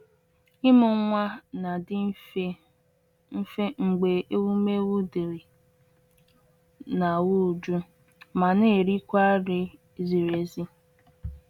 Ịmụ nwa na-adị mfe mfe mgbe ewumewụ dịrị n’ahụ́, jụụ, ma na-erikwa nri ziri ezi.